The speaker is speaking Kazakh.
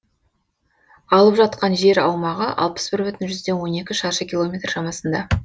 алып жатқан жер аумағы алпыс бір бүтін жүзден он екі шаршы километр шамасында